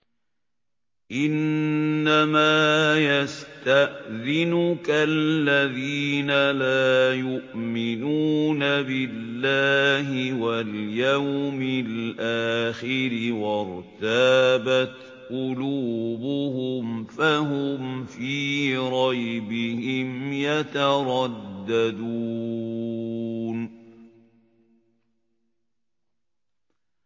إِنَّمَا يَسْتَأْذِنُكَ الَّذِينَ لَا يُؤْمِنُونَ بِاللَّهِ وَالْيَوْمِ الْآخِرِ وَارْتَابَتْ قُلُوبُهُمْ فَهُمْ فِي رَيْبِهِمْ يَتَرَدَّدُونَ